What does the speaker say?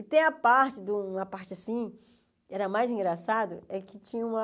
E tem a parte do, uma parte, assim, era mais engraçada, é que tinha uma...